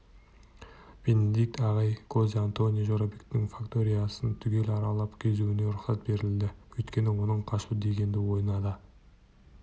бенедикт ағайға хозе-антонио жорабектің факториясын түгел аралап кезуіне рұқсат берілді өйткені оның қашу дегенді ойына да